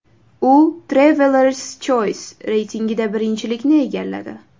U Traveller’s Choise reytingida birinchilikni egalladi .